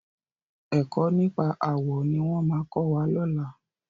Ẹ̀kọ́ nípa àwọ̀ ní wọ́n máa kọ́ wa lọ́làá.